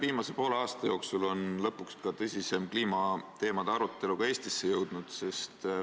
Viimase poole aasta jooksul on lõpuks tõsisem kliimateemade arutelu ka Eestisse jõudnud.